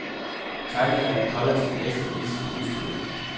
Tegninger af den hollandske mester vises på udstillingen.